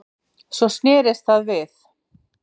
Svo snerist það við